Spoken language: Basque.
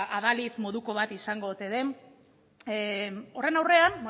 adalid moduko bat izango ote den horren aurrean